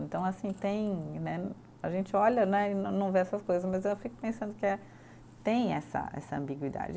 Então, assim, tem né. A gente olha né e não não vê essas coisas, mas eu fico pensando que é, tem essa essa ambiguidade.